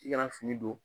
I kana fini don